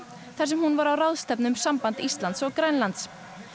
þar sem hún var á ráðstefnu um samband Íslands og Grænlands